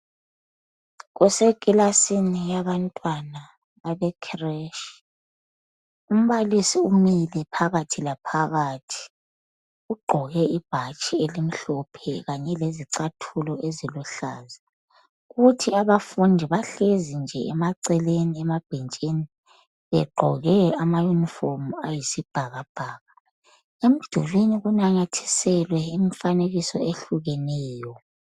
Kusekilasini yabantwana abekhiretshi. Umbalisi umile phakathi laphakathi. Ugqoke ibhatshi elimhlophe kanye lezicathulo eziluhlaza. Kuthi abafundi bahlezi nje emaceleni emabhentshini begqoke ama yunifomu ayisibhakabhaka. Emdulini kunanyathiselwe imifanekiso ehlukeneyo.